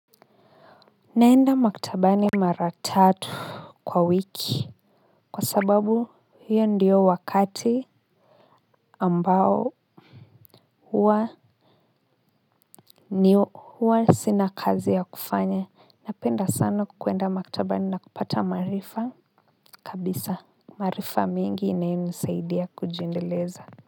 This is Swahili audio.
Naenda maktabani mara tatu kwa wiki kwa sababu hiyo ndio wakati ambao huwa ni huwa sina kazi ya kufanya. Napenda sana kuenda maktabani na kupata maarifa kabisa maarifa mengi inayonisaidia kujiendeleza.